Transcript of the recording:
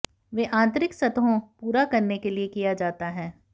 वे आंतरिक सतहों पूरा करने के लिए किया जाता है